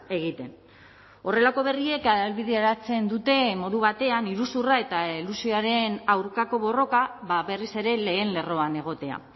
egiten horrelako berriek ahalbideratzen dute modu batean iruzurra eta elusioaren aurkako borroka berriz ere lehen lerroan egotea